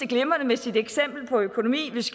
glimrende med sit eksempel på økonomi hvis